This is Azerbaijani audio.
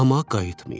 Amma qayıtmayıb.